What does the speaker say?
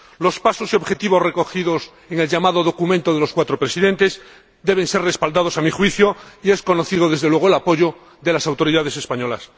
Los pasos y objetivos recogidos en el llamado documento de los cuatro presidentes deben ser respaldados, a mi juicio, y es conocido, desde luego, el apoyo de las autoridades españolas.